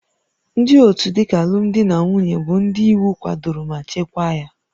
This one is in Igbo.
Ndị otu dịka alụmdi na nwunye bụ ndị iwu kwadoro ma chekwaa ya